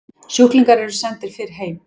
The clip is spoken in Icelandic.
Sjúklingar eru sendir fyrr heim